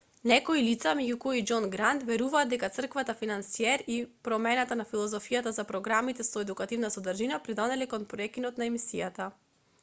некои лица меѓу кои и џон грант веруваат дека црквата-финансиер и промената на филозофијата за програмите со едукативна содржина придонеле кон прекинот на емисијата